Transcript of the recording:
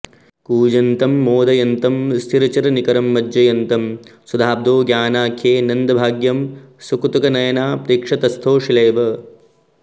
कूजन्तं मोदयन्तं स्थिरचरनिकरं मज्जयन्तं सुधाब्धौ गानाख्ये नन्दभाग्यं सकुतुकनयना प्रेक्ष्य तस्थौ शिलेव